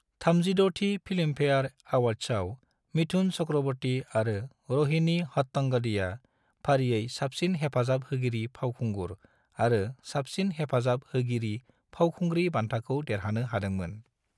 36 थि फिल्मफेयर अवार्ड्सआव मिथुन चक्रवर्ती आरो रोहिणी हट्टंगडीया फारियै साबसिन हेफाजाब होगिरि फावखुंगुर आरो साबसिन हेफाजाब होगिरि फावखुंग्रि बान्थाखौ देरहानो हादोंमोन।